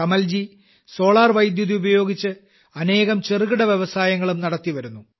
Kamalji solar വൈദ്യുതി ഉപയോഗിച്ച് അനേകം ചെറുകിട വ്യസായങ്ങളും നടത്തിവരുന്നു